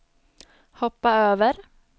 hoppa över